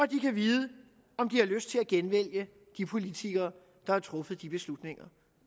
de kan vide om de har lyst til at genvælge de politikere der har truffet de beslutninger